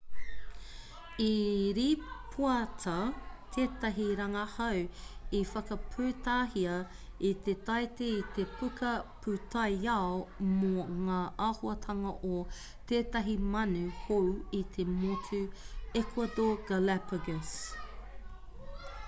i rīpoata tētahi rangahau i whakaputahia i te taite i te puka pūtaiao mō ngā āhuatanga o tētahi manu hou i te motu ecuador galapagos